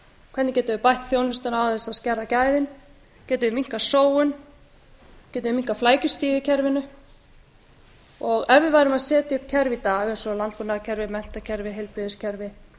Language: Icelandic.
hvernig getum við bætt þjónustuna án þess að skerða gæðin getum við minnkað sóun getum við minnkað flækjustigið í kerfinu ef við værum að setja upp kerfi í dag eins og landbúnaðarkerfi menntakerfi heilbrigðiskerfi